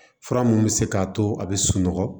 Fura mun bɛ se k'a to a bɛ sunɔgɔ